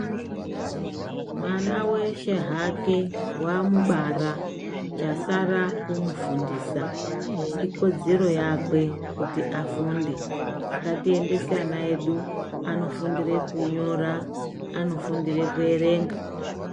Mwana veshe hake vamubara chasara kumufundisa ikodzero yakwe kuti afunde. Ngatiendese ana edu anofundire kunyora anofundire kuerenga.